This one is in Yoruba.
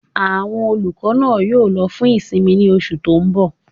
Àwọn olùkọ́ náà yóò lọ fún ìsinmi ní oṣù tó n bọ̀